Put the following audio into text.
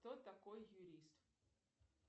кто такой юрист